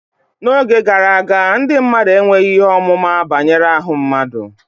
n'oge gara aga, ndị mmadụ enweghị ihe ọmụma banyere ahụ mmadụ